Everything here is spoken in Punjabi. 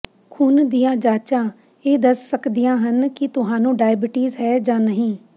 ਖੂਨ ਦੀਆਂ ਜਾਂਚਾਂ ਇਹ ਦੱਸ ਸਕਦੀਆਂ ਹਨ ਕਿ ਤੁਹਾਨੂੰ ਡਾਇਬੀਟੀਜ਼ ਹੈ ਜਾਂ ਨਹੀਂ